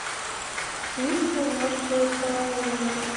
письма мертвого человека